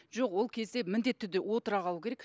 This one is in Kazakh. жоқ ол кезде міндетті түрде отыра қалу керек